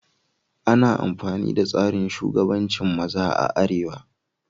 Ana amfani da tsarin shugabancin maza a arewa.